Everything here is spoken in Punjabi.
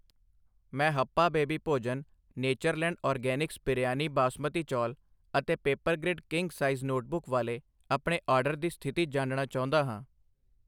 ਮੈਂ ਹੱਪਾ ਬੇਬੀ ਭੋਜਨ, ਨੇਚਰਲੈਂਡ ਆਰਗੈਨਿਕਸ ਬਿਰਯਾਨੀ ਬਾਸਮਤੀ ਚੌਲ ਅਤੇ ਪੇਪਰਗ੍ਰਿਡ ਕਿੰਗ ਸਾਈਜ਼ ਨੋਟਬੁੱਕ ਵਾਲੇ ਆਪਣੇ ਆਰਡਰ ਦੀ ਸਥਿਤੀ ਜਾਣਨਾ ਚਾਹੁੰਦਾ ਹਾਂ।